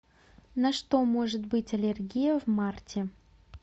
на что может быть аллергия в марте